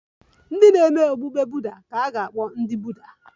Ndị na-eme okpukpe Buddha ga-akpọ ndị Buddha